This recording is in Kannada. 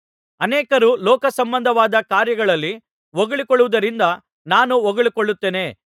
ಅನೇಕರು ಲೋಕಸಂಬಂಧವಾದ ಕಾರ್ಯಗಳಲ್ಲಿ ಹೊಗಳಿಕೊಳ್ಳುವುದರಿಂದ ನಾನೂ ಹೊಗಳಿಕೊಳ್ಳುತ್ತೇನೆ